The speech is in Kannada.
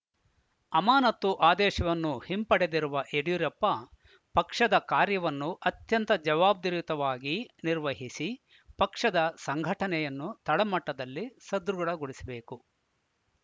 ಅಮಾನತು ಆದೇಶವನ್ನು ಹಿಂಪಡೆದಿರುವ ಯಡಿಯೂರಪ್ಪ ಪಕ್ಷದ ಕಾರ್ಯವನ್ನು ಅತ್ಯಂತ ಜವಾಬ್ದರಿತವಾಗಿ ನಿರ್ವಹಿಸಿ ಪಕ್ಷದ ಸಂಘಟನೆಯನ್ನು ತಳಮಟ್ಟದಲ್ಲಿ ಸದೃಢಗೊಳಿಸಬೇಕು